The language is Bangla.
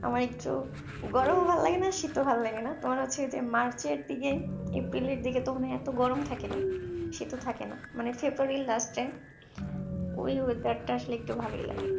আমার একটু গরম ও ভাল্লাগেনা শীত ও ভাল্লাগেনা আমার হচ্ছে March র দিকে April র দিকে তো মনে হয় এত গরম থাকে না সেতো থাকেনা মানে February র last এ ওই weather টা আসলে একটু ভালো লাগে।